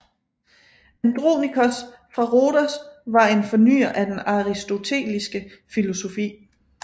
Andronikos fra Rhodos var en fornyer af den aristoteliske filosofi